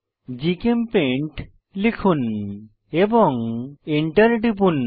GChemPaint লিখুন এবং enter টিপুন